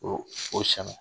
O o